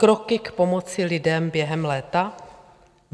Kroky k pomoci lidem během léta?